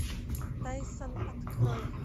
тайсон открой